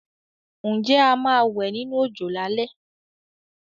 Ǹjẹ́ a máa wẹ̀ nínú òjò lálé?